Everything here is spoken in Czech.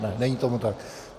Ne, není tomu tak.